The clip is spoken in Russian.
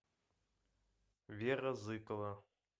вера зыкова